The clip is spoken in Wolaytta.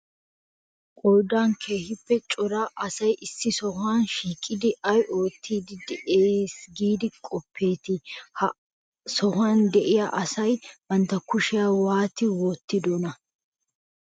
Qoodan keehippe cora asay issi sohuwan shiiqidi ay oottiiddi de'ees giidi qoppeetii? Ha sohuwan de'iya asay bantta kushiya waati wottidonaa?